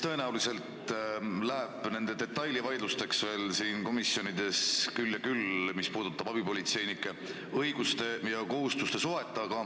Tõenäoliselt läheb komisjonides detailide üle vaidluseks veel küll ja küll, mis puudutab abipolitseinike õiguste ja kohustuste suhet.